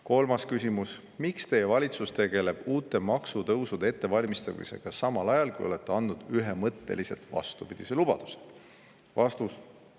Kolmas küsimus: "Miks teie valitsus tegeleb uute maksutõusude ettevalmistamisega samal ajal kui olete andnud ühemõtteliselt vastupidise lubaduse?